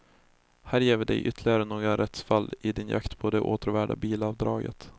Här ger vi dig ytterligare några rättsfall i din jakt på det åtråvärda bilavdraget.